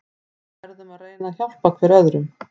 Við verðum að reyna að hjálpa hver öðrum.